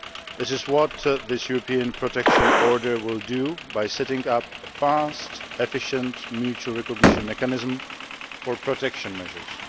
This is what this European Protection Order will do, by setting up a fast, efficient, mutual recognition mechanism for protection measures.